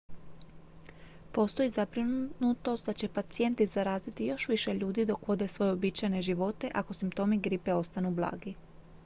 postoji zabrinutost da će pacijenti zaraziti još više ljudi dok vode svoje uobičajene živote ako simptomi gripe ostanu blagi